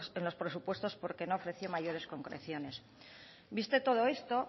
en los presupuestos porque no ofreció mayores concreciones visto todo esto